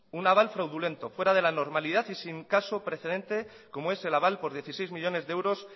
un aval fraudulento fuera de la normalidad y sin caso precedente como es el aval por dieciséis millónes de euros